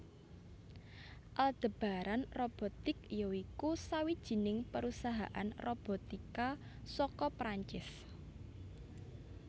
Aldebaran Robotics ya iku sawijining perusahaan robotika saka Prancis